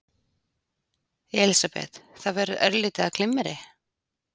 Elísabet: Það verður örlítið af glimmeri?